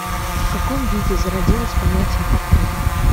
в каком виде зародилось понятие портрет